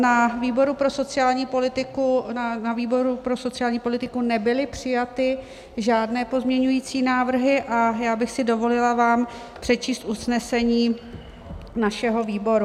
Na výboru pro sociální politiku nebyly přijaty žádné pozměňovací návrhy a já bych si dovolila vám přečíst usnesení našeho výboru.